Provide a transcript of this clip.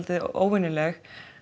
óvenjuleg